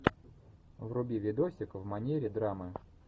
вруби видосик в манере драмы